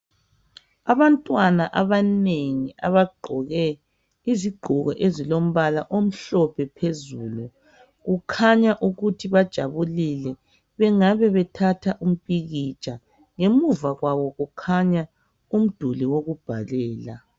Abantwana abanengi abagqoke izigqoko ezilombala omhlophe phezulu .Kukhanya ukuthi bajabulile, bengabe bethatha umpikitsha. Ngemuva kwabo kukhanya umduli wokubhalela.